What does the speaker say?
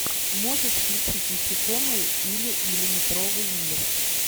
можешь включить насекомые или миллиметровый мир